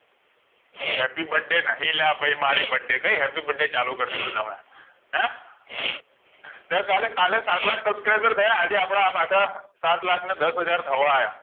Happy birthday નહિ અલ્યા ભઈ મારો birthday કઈ happy birthday ચાલુ કરી દીધું તમે સર કાલે સતલાખ subscriber થયા આજે આપણા પાછા સાતલખા ને દાસ હાજર થવા આવ્યા